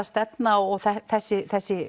stefna og þessi þessi